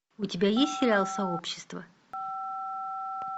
у тебя есть сериал сообщество